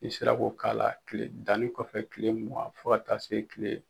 I sera ko k'a la kile danni kɔfɛ kile mugan fo ka taa se kile